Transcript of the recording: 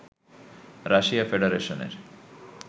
Russia ফেডারেশনের